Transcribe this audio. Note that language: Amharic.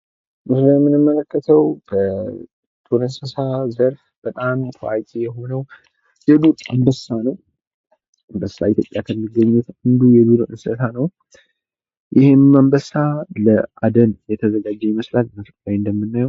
የቤት እንስሳት ምግብና መጠለያ ያስፈልጋቸዋል። የዱር እንስሳት ደግሞ ራሳቸውን ችለው ምግብ ያገኛሉ እንዲሁም ከአደጋ ይጠበቃሉ።